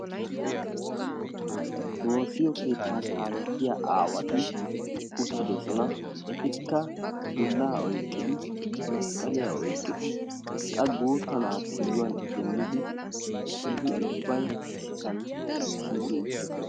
Woossiyoo keettaa kaalettiyaa aawati uttidosona. etikka dullaa oyqqidi masqqaliyaa oyqqidi qa guutta na'aa kiyuwaan idimmidi eti ubbay issisaan shiiqi uttidosona.